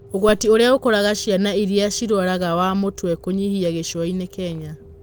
ũgwati ũrĩa ũkoraga ciana irĩa cirwaraga wa mũtwe kũnyĩha Gĩcũai-nĩ Kenya.